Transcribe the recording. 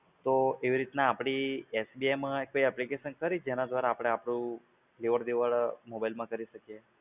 તો એવી રીતના આપડી SBI માં કોઈ application ખરી કે જેના દ્વારા આપડે આપડું લેવડ-દેવડ mobile માં કરી શકીએ?